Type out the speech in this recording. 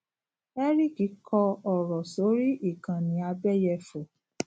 eric kọ ọrọ sórí ikanni abeyefo